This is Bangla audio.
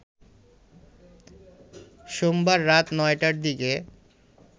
সোমবার রাত ৯টার দিকে